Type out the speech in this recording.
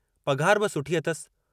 पघार बि सुठी अथसि।